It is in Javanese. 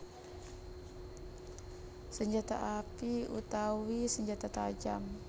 Senjata api utawi senjata tajam